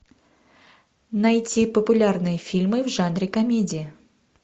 найти популярные фильмы в жанре комедия